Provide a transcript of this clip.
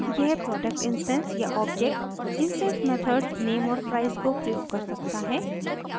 अब यह product instance या ऑब्जेक्ट इंस्टैंस मेथड्स name और price को प्रयोग कर सकता है